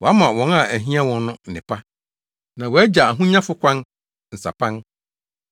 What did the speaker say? Wama wɔn a ahia wɔn no nnepa na wagya ahonyafo kwan nsapan.